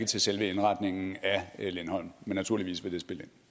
til selve indretningen af lindholm men naturligvis vil